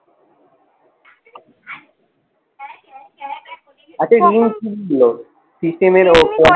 আচ্ছা system